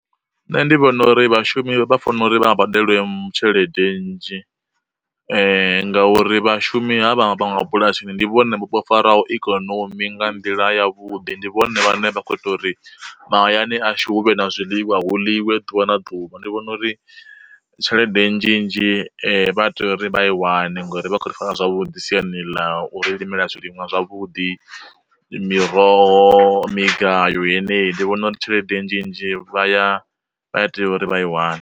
Nṋe ndi vhona uri vhashumi vha fanela uri vha nga badelwe mu tshelede nnzhi, ngauri vhashumi ha vha vha ma bulasini ndi vhone vho faraho ikonomi nga nḓila ya vhuḓi ndi vhone vhane vha kho ita uri mahayani ashu huvhe na zwiḽiwa hu ḽiwe ḓuvha na ḓuvha. Ndi vhona uri tshelede nnzhi nnzhi vha tea uri vha i wane ngori vha khou ri fara zwavhuḓi siani ḽa uri limela zwiliṅwa zwavhuḓi, miroho, migayo yeneyi. Ndi vhona uri tshelede nnzhi nnzhi vha ya vha ya tea uri vha i wane.